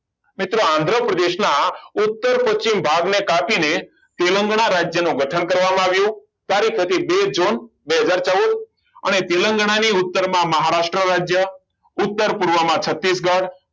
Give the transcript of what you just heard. મિત્રો આંધ્ર પ્રદેશના ઉત્તર પછી ભાગને સાથીને તેલંગાણા રાજ્યનો ગઠન કરવામાં આવ્યું ત્યારે પ્રતિબિંબ બે હજાર ચૌદ અને તેલંગાના ની ઉત્તરમાં મહારાષ્ટ્ર રાજ્ય ઉત્તર પૂર્વમાં છત્તીસગઢ